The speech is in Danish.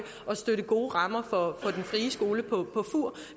og støtte gode rammer for den frie skole på fur